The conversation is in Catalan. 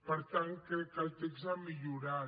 per tant crec que el text ha millorat